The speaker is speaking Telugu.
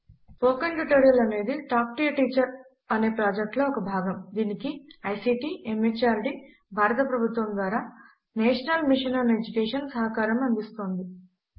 స్పోకెన్ ట్యుటోరియల్ అనేది టాక్ టు ఏ టీచర్ అనే ప్రాజెక్ట్ లో ఒక భాగము దీనికి ఐసీటీ ఎంహార్డీ భారత ప్రభుత్వము ద్వారా నేషనల్ మిషన్ ఆన్ ఎడ్యుకేషన్ సహకారం అందిస్తోంది